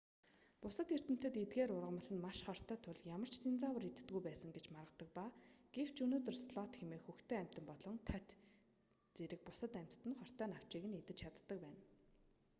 бусад эрдэмтэд эдгээр ургамал нь маш хортой тул ямар ч динозавр иддэггүй байсан гэж маргадаг ба гэвч өнөөдөр слот хэмээх хөхтөн амьтан болон тоть динозаврын үр хойч зэрэг бусад амьтад нь хортой навчийг идэж чаддаг байна